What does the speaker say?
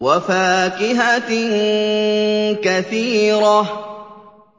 وَفَاكِهَةٍ كَثِيرَةٍ